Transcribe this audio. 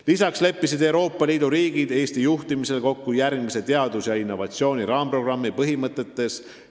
Lisaks leppisid Euroopa Liidu riigid Eesti juhtimisel kokku järgmise teaduse ja innovatsiooni raamprogrammi põhimõtetes.